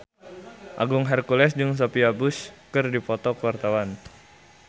Agung Hercules jeung Sophia Bush keur dipoto ku wartawan